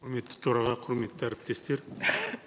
құрметті төраға құрметті әріптестер